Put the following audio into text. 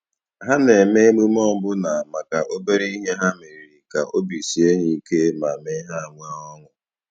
Ha na-eme emume ọbụna maka obere ihe ha meriri, ka obi sie ha ike ma mee ha nwee ọṅụ.